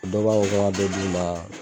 O dɔ b'a fɔ k'an ka dɔ d'u ma